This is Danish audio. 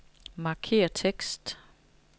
Markér tekst.